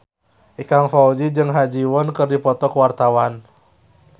Ikang Fawzi jeung Ha Ji Won keur dipoto ku wartawan